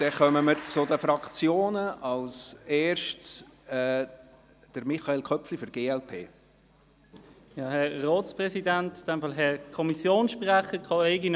Somit kommen wir zu den Fraktionen, zuerst zur glp mit Michael Köpfli.